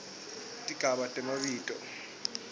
tigaba temabito